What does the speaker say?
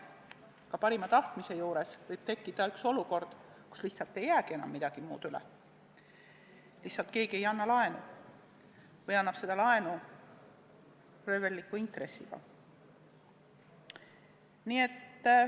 Ka parima tahtmise juures võib tekkida olukord, kus lihtsalt ei jää enam midagi muud üle, lihtsalt keegi ei anna laenu või annaks seda röövelliku intressiga.